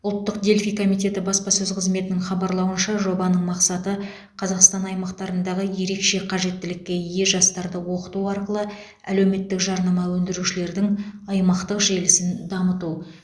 ұлттық дельфий комитеті баспасөз қызметінің хабарлауынша жобаның мақсаты қазақстан аймақтарындағы ерекше қажеттілікке ие жастарды оқыту арқылы әлеуметтік жарнама өндірушілердің аймақтық желісін дамыту